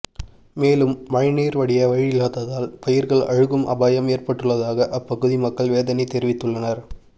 மேலும் மழைநீர் வடிய வழியில்லாததால் பயிர்கள் அழுகும் அபாயம் ஏற்பட்டுள்ளதாக அப்பகுதி மக்கள் வேதனை தெரிவித்துள்ளனர்